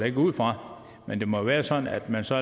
ikke ud fra men det må jo være sådan at man så